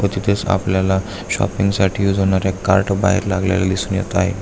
व तिथेच आपल्याला शॉपिंग साठी एक कार्ड लावलेलं बाहेर दिसत आहे.